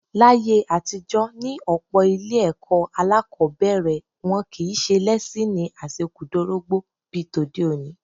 Láyé àtijọ́ ní ọ̀pọ̀ ilé-ẹ̀kọ́ alákọ̀ọ́bẹ̀rẹ̀, wọn kì í ṣe lẹ́síìnì àṣekúdorógbó bí tòde òní.